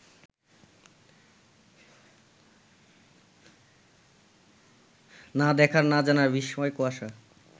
না দেখার, না জানার বিস্ময়কুয়াশা